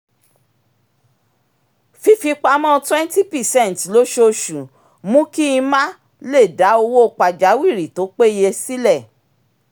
fífipamọ́ twenty percent lósooṣù mú kí n ma lè dá owó pajawìrì tó péye sílẹ̀